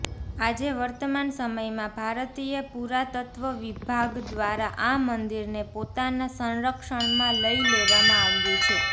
આજે વર્તમાન સમયમાં ભારતીય પુરાતત્વ વિભાગ દ્વારા આ મંદિરને પોતાના સંરક્ષણમાં લઇ લેવામાં આવ્યું છે